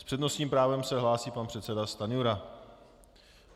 S přednostním právem se hlásí pan předseda Stanjura.